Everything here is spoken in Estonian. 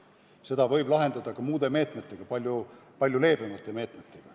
Selle võib lahendada ka muude meetmetega, palju leebemate meetmetega.